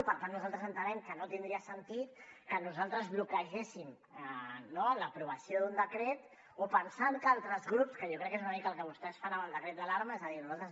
i per tant nosaltres entenem que no tindria sentit que nosaltres bloquegéssim no l’aprovació d’un decret o pensant que altres grups que jo crec que és una mica el que vostès fan amb el decret d’alarma és a dir nosaltres